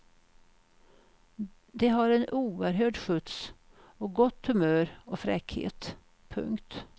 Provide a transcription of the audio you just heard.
Det har en oerhörd skjuts och gott humör och fräckhet. punkt